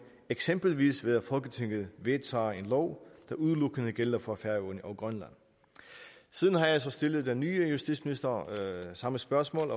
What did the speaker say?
eksempelvis ved at folketinget vedtager en lov der udelukkende gælder for færøerne og grønland siden har jeg så stillet den nye justitsminister samme spørgsmål